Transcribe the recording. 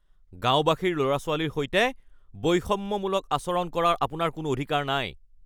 গাঁওবাসীৰ ল’ৰা-ছোৱালীৰ সৈতে বৈষম্যমূলক আচৰণ কৰাৰ আপোনাৰ কোনো অধিকাৰ নাই, (বিতৰ্ক উত্তপ্ত হৈ পৰাৰ সময়তে নাতিয়ে তেওঁলোকৰ ককাদেউতাকক উদ্দেশ্যি কয়)